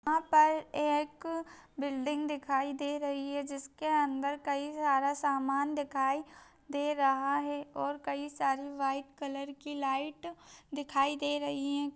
यहां पर एक बिल्डिंग दिखाई दे रही है जिसके अंदर कई सारा समान दिखाई दे रहा है और कई सारी व्हाइट कलर की लाइट दिखाई दे रही है--